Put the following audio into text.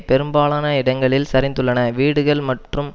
பெரும்பாலான இடங்களில் சரிந்துள்ளன வீடுகள் மற்றும்